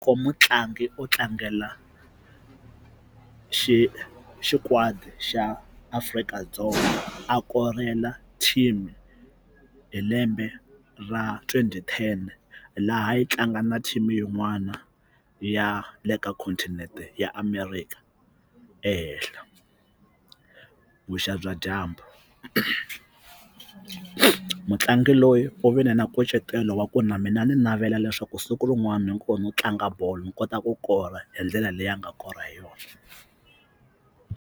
Mutlangi u tlangela xi xikwadi xa Afrika-Dzonga a korela team hi lembe ra twenty ten laha yi tlanga na team yin'wana ya le ka continent-e ya America ehehla vuxa bya dyambu mutlangi loyi u vile na nkucetelo wa ku na mina ni navela leswaku siku rin'wana hikuva no tlanga bolo ni kota ku kora hi ndlela leyi a nga kora hi yona.